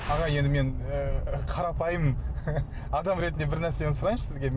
аға енді мен ы қарапайым адам ретінде бір нәрсені сұрайыншы сізге